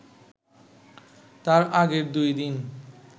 তার আগের দুই দিন